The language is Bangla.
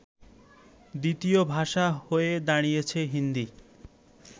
দ্বিতীয় ভাষা হয়ে দাড়িয়েছে হিন্দী